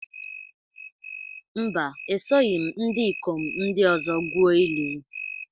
Mba, esoghị m ndị ikom ndị ọzọ gwuo ili